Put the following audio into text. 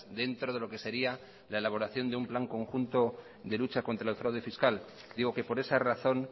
dentro de lo que sería la elaboración de un plan conjunto de lucha contra el fraude fiscal digo que por esa razón